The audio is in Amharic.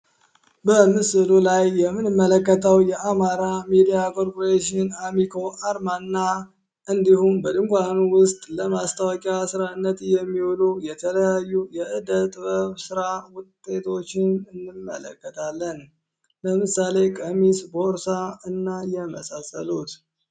ምስሉ ላይ የምንመለከተው የአማራ ሚድያ ኮርፖሬሽን አሚኮ እንዲሁም በድንኳኑ ውስጥ ለማስታወቂያ የሚሆኑ የተለያዩ ስራ ውጤቶችን እንመለከታለን ለምሳሌ ቀሚስ ቦርሳ እና የመሳሰሉት